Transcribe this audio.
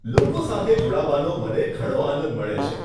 લોકો સાથે જોડાવાનો મને ઘણો આનંદ મળે છે.